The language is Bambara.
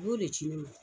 I b'o de ci ne ma